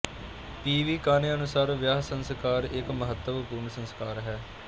ਪੀ ਵੀ ਕਾਨੇ ਅਨੁਸਾਰ ਵਿਆਹ ਸੰਸਕਾਰ ਇੱਕ ਮਹੱਤਵਪੂਰਨ ਸੰਸਕਾਰ ਹੈ